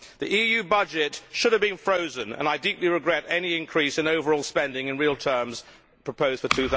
The EU budget should have been frozen, and I deeply regret any increase in overall spending in real terms proposed for